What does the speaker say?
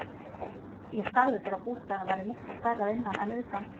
Ég sagði þér að bústaðurinn væri miklu stærri að innan en utan.